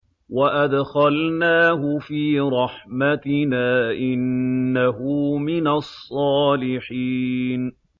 وَأَدْخَلْنَاهُ فِي رَحْمَتِنَا ۖ إِنَّهُ مِنَ الصَّالِحِينَ